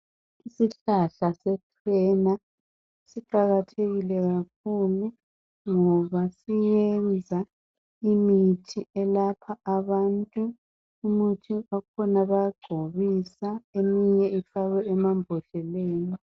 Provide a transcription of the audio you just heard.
Isihlahla se chena siqakathekile kakhulu ngoba siyenza imithi elapha abantu . Umuthi wakhona bayagcobisa , eminye ifakwe emambodleleni.